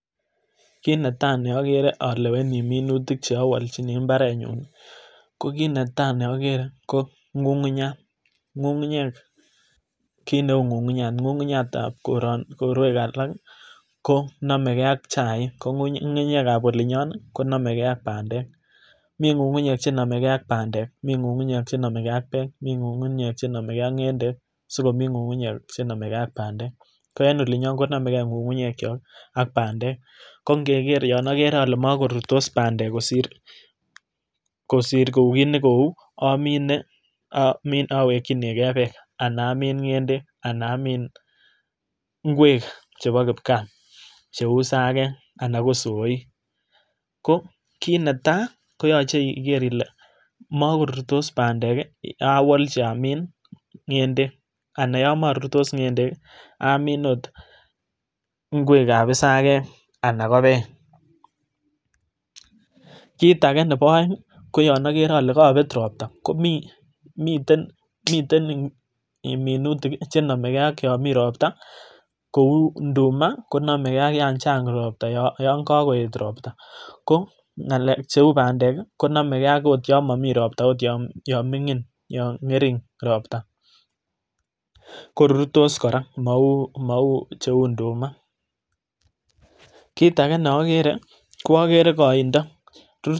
Kit netai neagere aleweni minutik cheawolchin mbarenyun ko kit netai neagere ko ng'ung'unyat ,ng'ung'unyek kit neu ng'ung'unyat, ng'ung'unyatab korwek alak ko nomege ak chaik, ko ng'ung'unyekab olinyon konomege ak bandek, mi ng'ung'unyek chenomege ak bandek,,mi ng'ung'unyek chenomege ak beek, mi ng'ung'unyek chenomege ak ng'endek, sikomi ng'ung'unyek chenomege ak bandek, ko en olinyon konomege ng'ung'unyekyok ak bandek kongegere yon agere alen mokorurtos bandek kosir kou kit nekou amine awekyin ge beek, ana amin ng'endek, ana amin ngwek chepo kipkaa cheu isakek anan ko isoik, ko kit netai koyoche iger ile mokorurtos bandek awolchi amin ng'endek ana yon morurtos ng'endek, ami ot ngwekab isakek ala beek. Kit ake nepo aeng koyon agere ale kobet ropta komiten minutik chenomege ak yomi ropta kou nduma konomege ak yan chang ropta yon kokoet ropta ko cheu bandek konomege akot yon momii ropta yon ming'in yon ng'ering ropta ,korurtos kora mou mou cheu nduma, kit age neogere koagere koindoo.